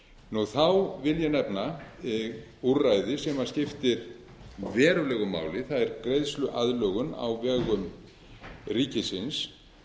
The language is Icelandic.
bankanna þá vil ég nefna úrræði sem skiptir verulegu máli það er greiðsluaðlögun á vegum ríkisins